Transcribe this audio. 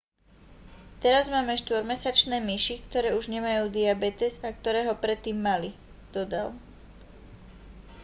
teraz máme 4-mesačné myši ktoré už nemajú diabetes a ktoré ho predtým mali dodal